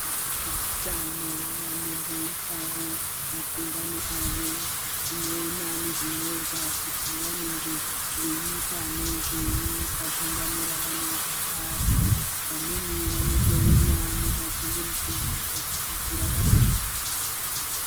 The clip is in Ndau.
Vezveutano vanomboitawo magungano awo anoona nezvinyorwa kuti vanenge veiita nezvei pagungano ravanenge vari vamweni vanotouya nemaginde mukundi ekuridzira vantu.